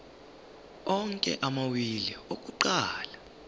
onke amawili akuqala